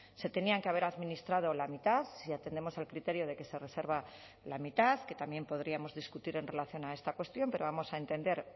se tenían que haber administrado la mitad si atendemos al criterio de que se reserva la mitad que también podríamos discutir en relación a esta cuestión pero vamos a entender